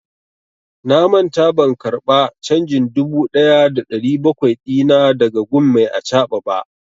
Na manta ban karba canjin dubu ɗaya da ɗari bakwai dina da ga gun mai acaɓa ba.